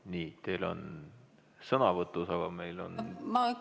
Nii, teil on sõnavõtus, aga meil on ...